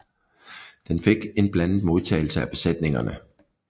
Den fik en blandet modtagelse af besætningerne